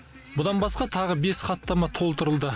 бұдан басқа тағы бес хаттама толтырылды